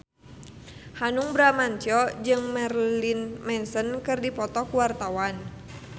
Hanung Bramantyo jeung Marilyn Manson keur dipoto ku wartawan